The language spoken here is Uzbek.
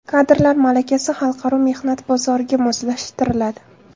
Kadrlar malakasi xalqaro mehnat bozoriga moslashtiriladi.